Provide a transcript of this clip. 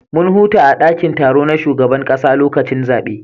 Mun huta a dakin taro na shugaban kasa lokacin zabe